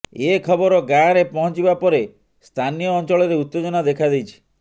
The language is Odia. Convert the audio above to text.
ଏ ଖବର ଗାଆଁରେ ପହଁଚିବା ପରେ ସ୍ଥାନୀୟ ଅଞ୍ଚଳରେ ଉତ୍ତେଜନା ଦେଖାଦେଇଛି